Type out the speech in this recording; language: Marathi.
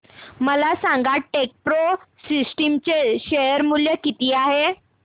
मला सांगा टेकप्रो सिस्टम्स चे शेअर मूल्य किती आहे